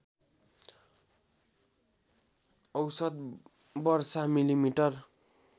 औषत वर्षा मिलिमिटर